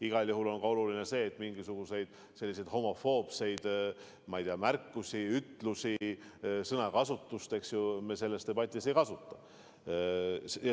Igal juhul on oluline, et mingisuguseid homofoobseid märkusi, ütlusi, sõnakasutust me selles debatis ei kasuta.